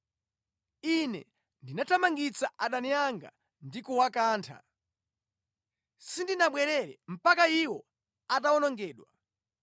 “Ine ndinathamangitsa adani anga ndi kuwakantha; sindinabwerere mpaka iwo atawonongedwa.